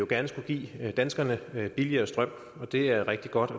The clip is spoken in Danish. gerne skulle give danskerne billigere strøm det er rigtig godt